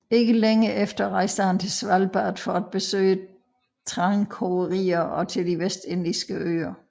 Ikke længe efter rejste han til Svalbard for at besøge trankogerier og til de vestindiske øer